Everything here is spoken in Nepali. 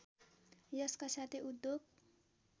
यसका साथै उद्योग